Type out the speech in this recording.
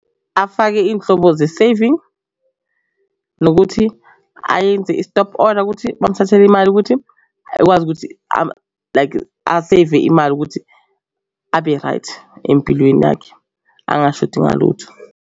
Afake iy'nhlobo ze-saving nokuthi ayenze i-stop order ukuthi bangithathele imali ukuthi akwazi ukuthi like aseve imali ukuthi abe right empilweni yakhe, angashodi ngalutho.